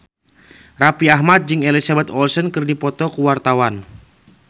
Raffi Ahmad jeung Elizabeth Olsen keur dipoto ku wartawan